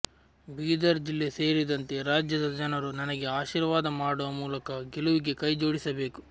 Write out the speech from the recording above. ಬೀದರ್ ಜಿಲ್ಲೆಸೇರಿದಂತೆ ರಾಜ್ಯದ ಜನರು ನನಗೆ ಆಶೀರ್ವಾದ ಮಾಡುವ ಮೂಲಕ ಗೆಲುವಿಗೆ ಕೈ ಜೋಡಿಸಬೇಕು